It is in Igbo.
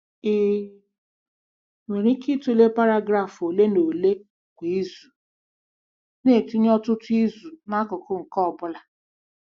Ị nwere ike ịtụle paragraf ole na ole kwa izu, na-etinye ọtụtụ izu n'akụkụ nke ọ bụla.